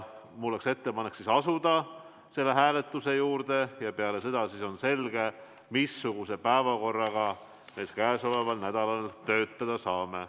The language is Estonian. Mul on ettepanek asuda selle hääletuse juurde ja peale seda on siis selge, missuguse päevakorraga me käesoleval nädalal töötada saame.